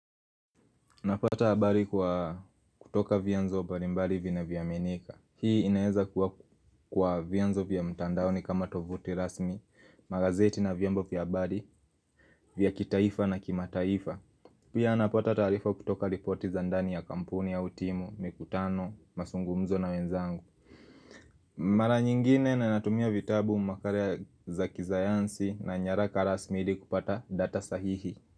Napata habari kwa kutoka vyanzo mbalimbali vina vyo aminika Hii inaeza kwa vianzo vya mtandaoni kama tovuti rasmi Magazeti na vyombo vya abari vya kitaifa na kimataifa Pia napata taarifa kutoka ripoti za ndani ya kampuni au timu, mikutano, mazungumzo na wenzangu Mara nyingine na natumia vitabu makala za kisayansi na nyaraka rasmi ili kupata data sahihi.